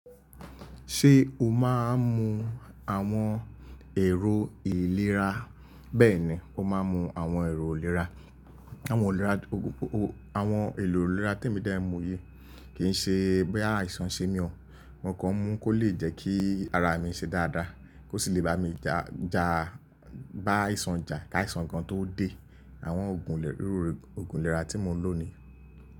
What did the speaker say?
Ṣé o máa ń mu àwọn èrò ìlera? Bẹ́ẹ̀ni, mo máa ń mu àwọn èrò ìlera. Àwọn èrò ìlera témi dẹ̀ ń mu yìí, kì í ṣe bóyá àìsàn ń ṣe mí o. Mo kàn ń mu-ún kó lè jẹ́ kí ara mi ṣe dáadáa kó sì lè bá mi ja bá àìsàn jà, k'áìsàn gan-an tó dé. Àwọn òògùn ìlera tí mo ń lò ni.